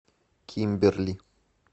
кимберли